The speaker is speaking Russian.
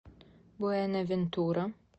буэнавентура